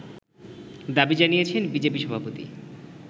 দাবি জানিয়েছেন বিজেপি সভাপতি